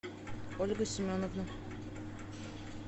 ольга семеновна